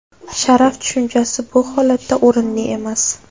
Sharaf tushunchasi bu holatda o‘rinli emas.